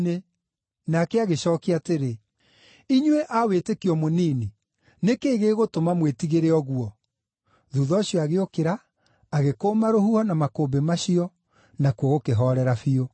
Nake agĩcookia atĩrĩ, “Inyuĩ mũrĩ a wĩtĩkio mũnini, nĩ kĩĩ gĩgũtũma mwĩtigĩre ũguo?” Thuutha ũcio agĩũkĩra, agĩkũũma rũhuho na makũmbĩ macio, nakuo gũkĩhoorera biũ.